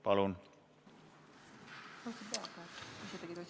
Palun!